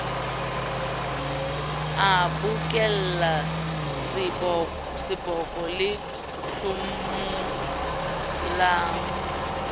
a bokolla seboko se hlomolang